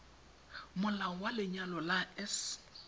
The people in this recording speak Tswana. molao wa lenyalo la s